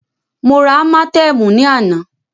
Mó rá ámátẹ̀ẹ̀mú ní àná.